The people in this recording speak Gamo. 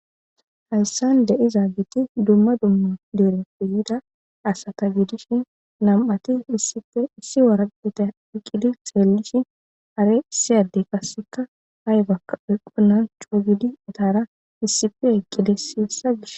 hayssan de izaageti dumma dumma dere feyida asata gidishi nam7ati isipissi waraqita hiqqidi xeellishi are isiyaddey kasseka haybakka eqqunan chuugidi itara issife eqqides hesa gish